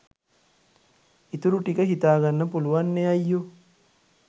ඉතුරු ටික හිතාගන්න පුළුවන් නෙ අයියෝ